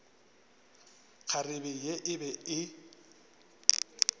kgarebe ye e be e